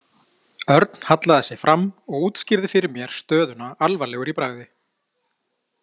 Örn hallaði sér fram og útskýrði fyrir mér stöðuna alvarlegur í bragði.